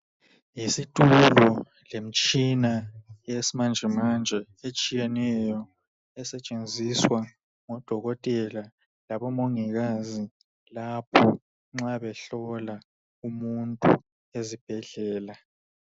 Yisitulo lemitshina yesimanje manje etshiyeneyo esetshenziswa ngodokotela labomongikazi lapho nxa behlola umuntu ezibhedlela.